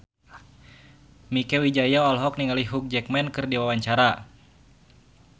Mieke Wijaya olohok ningali Hugh Jackman keur diwawancara